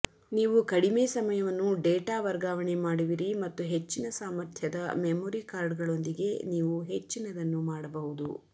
ನೀವು ಕಡಿಮೆ ಸಮಯವನ್ನು ಡೇಟಾ ವರ್ಗಾವಣೆ ಮಾಡುವಿರಿ ಮತ್ತು ಹೆಚ್ಚಿನ ಸಾಮರ್ಥ್ಯದ ಮೆಮೊರಿ ಕಾರ್ಡ್ಗಳೊಂದಿಗೆ ನೀವು ಹೆಚ್ಚಿನದನ್ನು ಮಾಡಬಹುದು